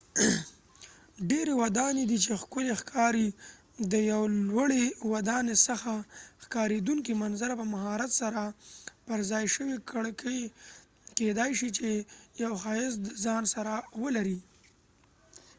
ډیری ودانۍ دي چې ښکلی ښکاری ، د یو لوړی ودانۍ څخه ښکاریدونکې منظره ،په مهارت سره پر ځای شوي کړکۍ کېدای شي چې یو ښایست د ځان سره ولري